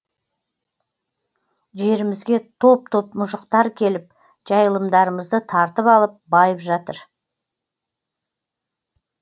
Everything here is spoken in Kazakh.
жерімізге топ топ мұжықтар келіп жайылымдарымызды тартып алып байып жатыр